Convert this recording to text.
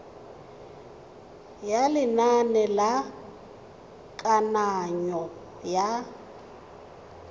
ya lenane la kananyo ya